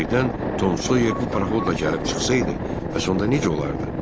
Birdən Tom Soyer bu paroxodla gəlib çıxsaydı, bəs onda necə olardı?